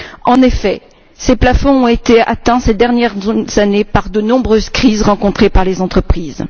En effet, ces plafonds ont été atteints ces dernières années par de nombreuses crises rencontrées par les entreprises.